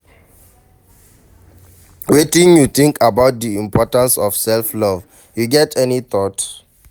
Wetin you think about di importance of self-love, you get any thoughts?